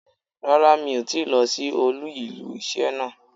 Rárá mi ò tíì lo sí olú ilé isé náà